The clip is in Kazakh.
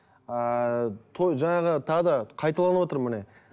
ыыы той жаңағы тағы да қайталанып отыр міне